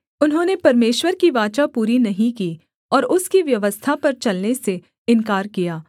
उन्होंने परमेश्वर की वाचा पूरी नहीं की और उसकी व्यवस्था पर चलने से इन्कार किया